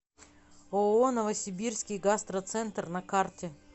ооо новосибирский гастроцентр на карте